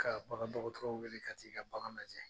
Ka bagandɔgɔtɔrɔw wele ka t'i ka bagan lajɛ